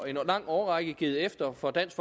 lang årrække givet efter for dansk